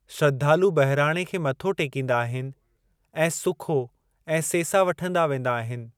श्रद्धालु बहिराणे खे मथो टेकींदा आहिनि ऐं सुखो ऐं सेसा वठंदा वेंदा आहिनि।